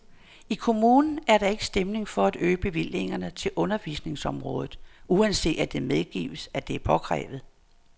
I kommunen er der ikke stemning for at øge bevillingerne til undervisningsområdet, uanset at det medgives, at det er påkrævet.